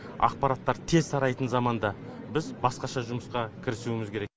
ақпараттар тез тарайтын заманда біз басқаша жұмысқа кірісуіміз керек